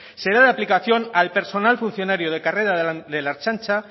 será la aplicación al personal funcionario de carrera de la ertzaintza